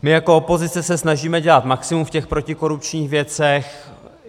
My jako opozice se snažíme dělat maximum v těch protikorupčních věcech.